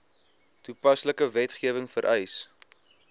toepaslike wetgewing vereis